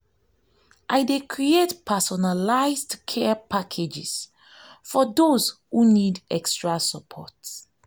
i dey create personalized care packages for those who need extra support.